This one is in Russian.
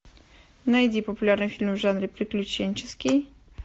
найди популярный фильм в жанре приключенческий